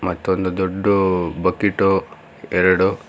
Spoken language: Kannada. ಇದು ಒಂದು ದೊಡ್ದು ಬಕಿಟು ಎರಡು--